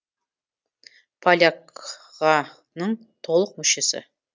поляк ға ның толық мүшесі